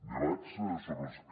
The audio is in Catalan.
debats sobre els que